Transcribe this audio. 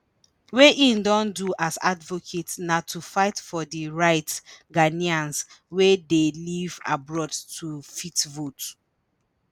wey im don do as advocate na to fight for di rights ghanaians wey dey live abroad to fit vote.